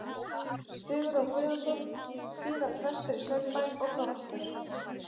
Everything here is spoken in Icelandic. Sigurjón Guðjónsson, síðar prestur í Saurbæ og prófastur.